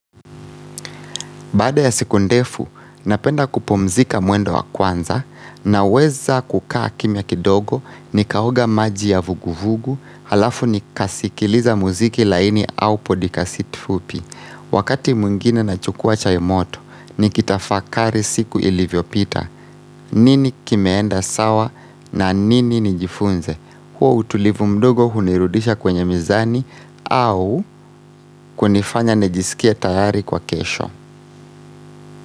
Baada ya siku ndefu, napenda kupumzika mwendo wa kwanza naweza kukaa kimya kidogo nikaoga maji ya vuguvugu alafu nikasikiliza muziki laini au podikasti fupi. Wakati mwingine nachukua chai moto, nikitafakari siku ilivyopita, nini kimeenda sawa na nini nijifunze, huo utulivu mdogo hunirudisha kwenye mizani au kunifanya nijisikie tayari kwa kesho.